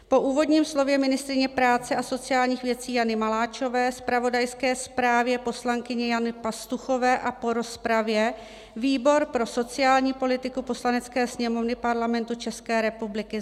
Po úvodním slově ministryně práce a sociálních věcí Jany Maláčové, zpravodajské zprávě poslankyně Jany Pastuchové a po rozpravě výbor pro sociální politiku Poslanecké sněmovny Parlamentu České republiky